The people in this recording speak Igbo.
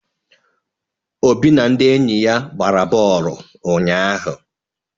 Obi na ndị enyi ya gbara bọọlụ ụnyahụ.